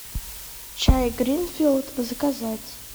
чай гринфилд заказать